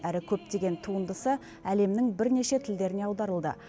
әрі көптеген туындысы әлемнің бірнеше тілдеріне аударылды